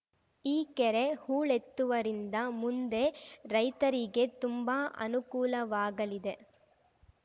ಈ ಕೆರೆ ಹೂಳೆತ್ತುವರಿಂದ ಮುಂದೆ ರೈತರಿಗೆ ತುಂಬಾ ಅನುಕೂಲವಾಗಲಿದೆ